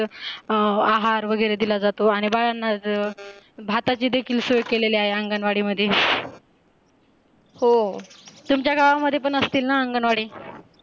आहार वगैरे दिला जातो आणी बाळांना भाताची पण सोय केलेली आहे अंगणवाडीमध्ये हो तुमच्या गावांमध्ये पण असतील ना अंगणवाडी?